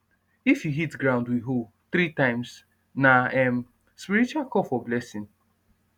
if you hit ground with hoe three times na um spiritual call for blessing